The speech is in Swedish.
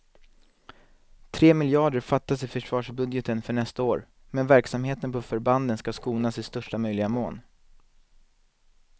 Tre miljarder fattas i försvarsbudgeten för nästa år, men verksamheten på förbanden ska skonas i största möjliga mån.